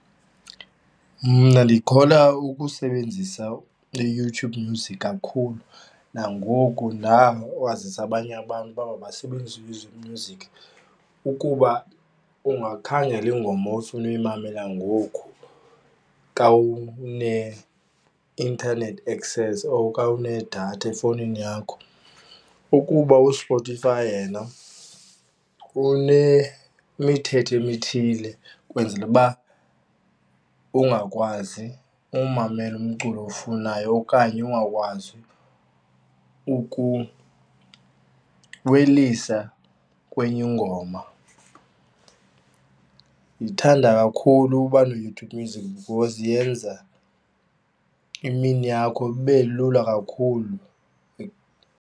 Mna ndikholwa ukusebenzisa iYouTube Music kakhulu, nangoku ndawazisa abanye abantu uba mabasebenzise iYouTube Music. Ukuba ungakhangela ingoma ofuna uyimamela ngoku kawune-internet access or kawunedatha efowunini yakho, ukuba uSpotify yena unemithetho emithile kwenzele uba ungakwazi umamela umculo owufunayo okanye ungakwazi ukuwelisa kwenye ingoma. Ndithanda kakhulu uba neYouTube Music because iyenza imini yakho ibe lula kakhulu.